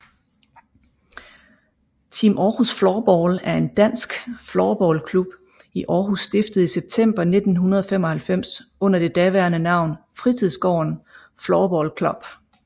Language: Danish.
Team Århus Floorball er en dansk floorballklub i Aarhus stiftet i september 1995 under det daværende navn Fritidsgården Floorball Club